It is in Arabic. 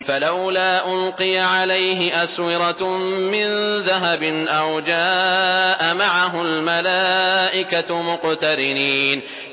فَلَوْلَا أُلْقِيَ عَلَيْهِ أَسْوِرَةٌ مِّن ذَهَبٍ أَوْ جَاءَ مَعَهُ الْمَلَائِكَةُ مُقْتَرِنِينَ